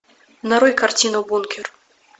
нарой картину бункер